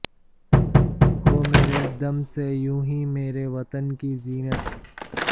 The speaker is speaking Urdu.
ہو مرے دم سے یونہی میرے وطن کی زینت